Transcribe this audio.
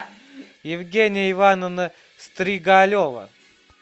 евгения ивановна стригалева